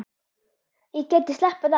Ég gæti slappað af.